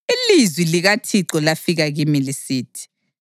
Ilizwi likaThixo lafika kimi lisithi: